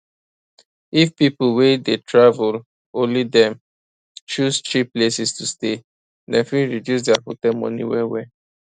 if people way dey travel only dem choose cheap places to stay dem fit reduce their hotel money well well